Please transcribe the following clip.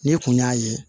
N'i kun y'a ye